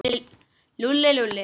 Lúlli, Lúlli.